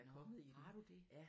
Nåh har du det